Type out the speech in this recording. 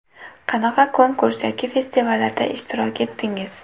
Qanaqa konkurs yoki festivallarda ishtirok etdingiz?